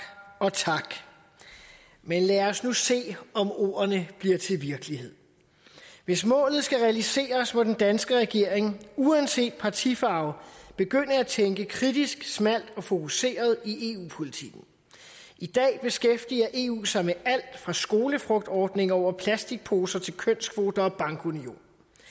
og tak men lad os nu se om ordene bliver til virkelighed hvis målet skal realiseres må den danske regering uanset partifarve begynde at tænke kritisk smalt og fokuseret i eu politikken i dag beskæftiger eu sig med alt fra skolefrugtordning over plastikposer til kønskvoter og bankunion